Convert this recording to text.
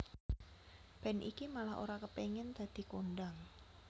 Band iki malah ora kepengin dadi kondhang